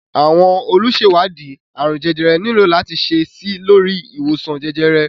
Àwọn olùṣèwádìí àrùn jẹjẹrẹ nílò láti ṣe síi lórí ìwòsàn jẹjẹrẹ